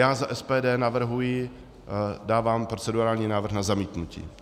já za SPD navrhuji, dávám procedurální návrh na zamítnutí.